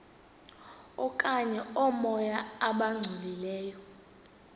okanye oomoya abangcolileyo